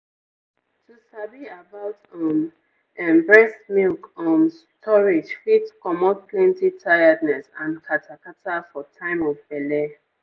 to sabi about um ehnnn breast milk um storage fit comot plenty tiredness and kata kata for time of belle.